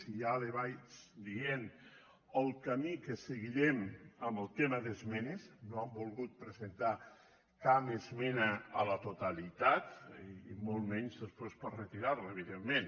i ja li vaig dient el camí que seguirem en el tema d’esmenes no hem volgut presentar cap esmena a la totalitat i molt menys després per retirar la evidentment